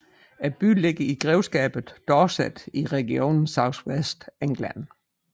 Byen ligger i grevskabet Dorset i regionen South West England